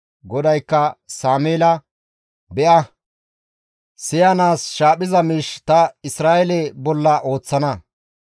GODAYKKA Sameela, «Be7a, siyanaas shaaphiza miish ta Isra7eele bolla ooththana.